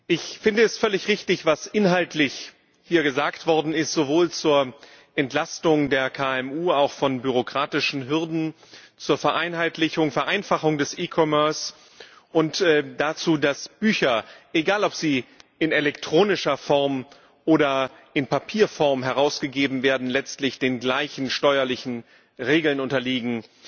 Ich finde es völlig richtig, was hier inhaltlich gesagt worden ist, sowohl zur Entlastung der KMU, auch von bürokratischen Hürden, als auch zur Vereinfachung des e commerce und dazu, dass Bücher egal ob sie in elektronischer Form oder in Papierform herausgegeben werden letztlich den gleichen steuerlichen Regeln unterliegen.